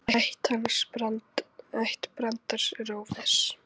Ætt Brands er óviss.